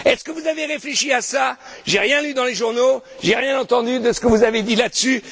Est ce que vous avez réfléchi à cela? J'ai rien lu dans les journaux, j'ai rien entendu de ce que vous avez dit là dessus.